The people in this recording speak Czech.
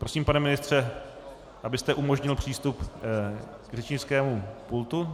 Prosím, pane ministře, abyste umožnil přístup k řečnickému pultu.